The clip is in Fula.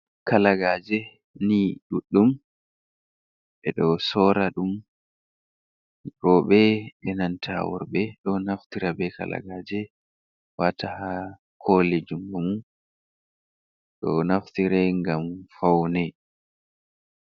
kalagaje ni duɗɗum. Ɓeɗo sora ɗum roɓe e'nanta worɓe ɗo naftira be kalagaje wata ha koliji mum. Ɗo naftire ngam faune.